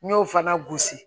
N y'o fana gosi